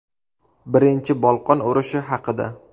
Birinchi Bolqon urushi haqida.